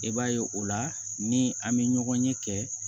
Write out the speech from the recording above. I b'a ye o la ni an bɛ ɲɔgɔn ye kɛ